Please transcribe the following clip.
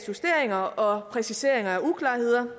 justeringer og præciseringer af uklarheder